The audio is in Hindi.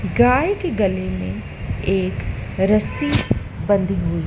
गाय के गले में एक रस्सी बंधी हुई--